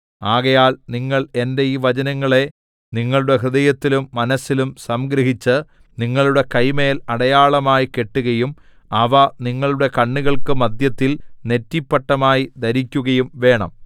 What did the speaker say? ആകയാൽ നിങ്ങൾ എന്റെ ഈ വചനങ്ങളെ നിങ്ങളുടെ ഹൃദയത്തിലും മനസ്സിലും സംഗ്രഹിച്ച് നിങ്ങളുടെ കൈമേൽ അടയാളമായി കെട്ടുകയും അവ നിങ്ങളുടെ കണ്ണുകൾക്ക് മദ്ധ്യത്തിൽ നെറ്റിപ്പട്ടമായി ധരിക്കുകയും വേണം